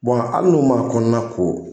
Bɔn ali n'u ma kɔnɔna ko.